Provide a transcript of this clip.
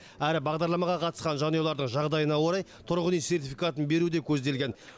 әрі бағдарламаға қатысқан жанұялардың жағдайына орай тұрғын үй сертификатын беру де көзделген